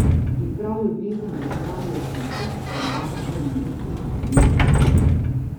In prav ljubezen do živali je tisto, kar babico in vnukinjo od nekdaj druži.